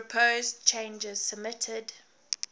proposed changes submitted